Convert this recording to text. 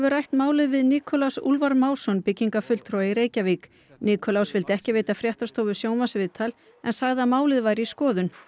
rætt málið við Nikulás Úlfar Másson byggingafulltrúa í Reykjavík Nikulás vildi ekki veita fréttastofu sjónvarpsviðtal en sagði að málið væri í skoðun